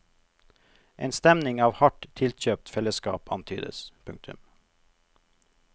En stemning av hardt tilkjøpt fellesskap antydes. punktum